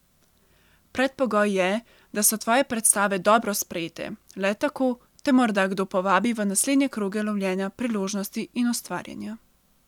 Predpogoj je, da so tvoje predstave dobro sprejete, le tako te morda kdo povabi v naslednje kroge lovljenja priložnosti in ustvarjanja.